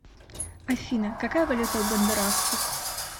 афина какая валюта у гондурасцев